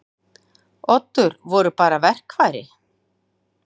Oddur voru bara verkfæri.